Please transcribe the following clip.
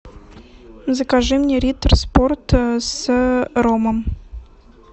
закажи мне риттер спорт с ромом